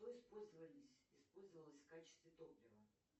что использовались использовалось в качестве топлива